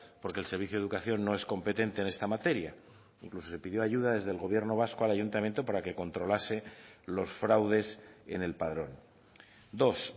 porque el servicio de educación no es competente en esta materia incluso se pidió ayuda desde el gobierno vasco al ayuntamiento para que controlase los fraudes en el padrón dos